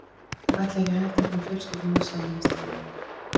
Þeir ætla ekki að hætta fyrr en fjölskyldurnar sameinast að nýju.